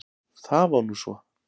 Það var nú svo!